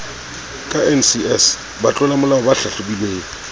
ka ncs batlolamolao ba hlahlobilweng